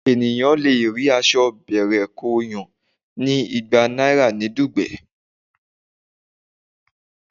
Ènìyàn le rí aṣọ bẹ̀rẹ̀-kóo-yàn ní igba náírà ní Dùgbẹ̀.